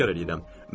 Təkrar edirəm.